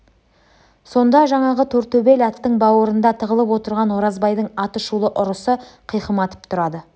сонда жаңағы тортөбел аттың бауырында тығылып отырған оразбайдың атышулы ұрысы қиқым атып тұрады